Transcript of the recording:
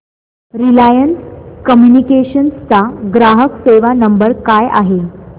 Reliance Communications चा ग्राहक सेवा नंबर काय आहे